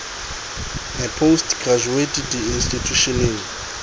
a post graduate di institjhusheneng